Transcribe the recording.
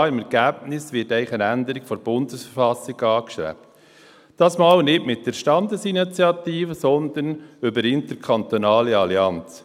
Ja: Im Ergebnis wird eigentlich eine Änderung der Bundesverfassung angestrebt, dieses Mal nicht mit der Standesinitiative, sondern über eine interkantonale Allianz.